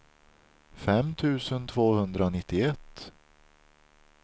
fem tusen tvåhundranittioett